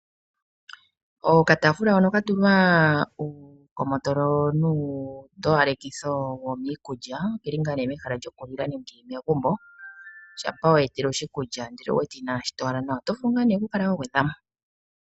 Okataafula hono ka tulwa uukomotolo nuutowalekitho womiikulya oke li mehala lyokulila li li megumbo shampa wa etelwa oshikulya, ihe owu wete inaashi towala nawa oto vulu okukala wa gwedha mo.